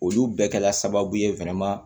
Olu bɛɛ kɛla sababu ye